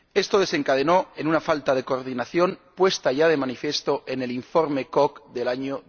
Esto desencadenó una falta de coordinación puesta ya de manifiesto en el informe Kok del año